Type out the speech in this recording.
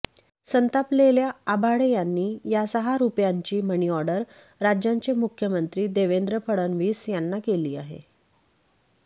संतापलेल्या आभाळे यांनी या सहा रुपयांची मनीऑर्डर राज्याचे मुख्यमंत्री देवेंद्र फडणवीस यांना केली आहे